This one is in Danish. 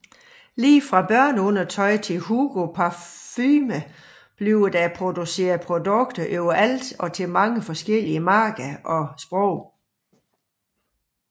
Lige fra børneundertøj til Hugo parfume blev der produceret produkter overalt og til mange forskellige markeder og sprog